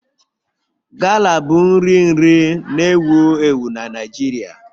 Gala bụ nri nri na-ewu ewu na Naịjirịa